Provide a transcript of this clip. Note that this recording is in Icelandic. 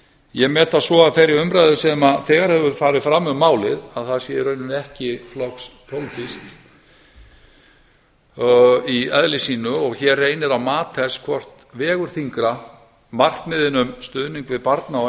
ég met það svo af þeirri umræðu sem þegar hefur farið fram um málið að það sé í rauninni ekki flokkspólitískt í eðli sínu og hér reynir á mat þess hvort vegur þyngra markmiðin um stuðning við barna og